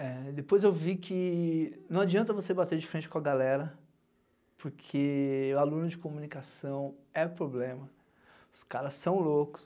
É, depois eu vi que não adianta você bater de frente com a galera, porque o aluno de comunicação é problema, os caras são loucos.